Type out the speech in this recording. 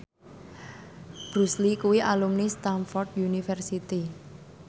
Bruce Lee kuwi alumni Stamford University